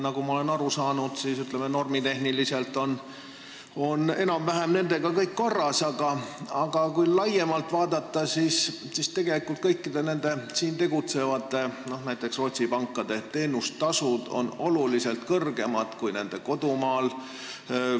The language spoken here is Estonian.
Nagu ma olen aru saanud, siis normitehniliselt on kõik enam-vähem korras, aga kui laiemalt vaadata, siis näiteks siin tegutsevate Rootsi pankade teenustasud on tunduvalt kõrgemad kui nende kodumaal.